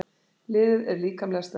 Liðið er líkamlega sterkt.